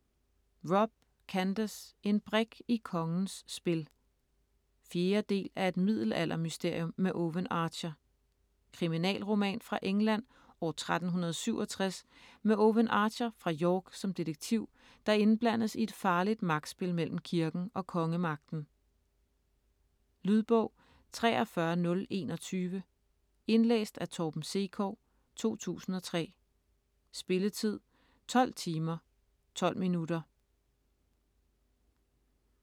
Robb, Candace: En brik i kongens spil 4. del af Et middelaldermysterium med Owen Archer. Kriminalroman fra England år 1367 med Owen Archer fra York som detektiv, der indblandes i et farligt magtspil mellem kirken og kongemagten. Lydbog 43021 Indlæst af Torben Sekov, 2003. Spilletid: 12 timer, 12 minutter.